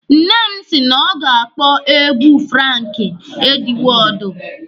Nne m si na ọ ga-akpọ egwu Franki Edwọọdu.